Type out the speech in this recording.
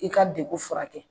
I ka degun furakɛ